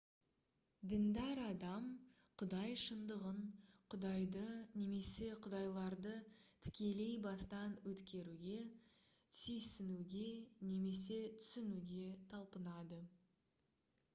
діндар адам құдай шындығын/құдайды немесе құдайларды тікелей бастан өткеруге түйсінуге немесе түсінуге талпынады